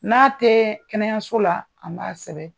N'a tɛ kɛnɛyaso la an b'a sɛbɛn